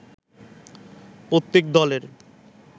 প্রত্যেক দলের